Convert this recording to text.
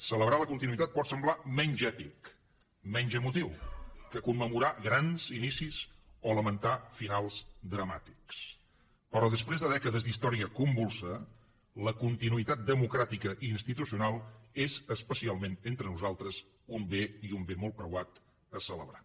celebrar la continuïtat pot semblar menys èpic menys emotiu que commemorar grans inicis o lamentar finals dramàtics però després de dècades d’història convulsa la continuïtat democràtica i institucional és especialment entre nosaltres un bé i un bé molt preuat a celebrar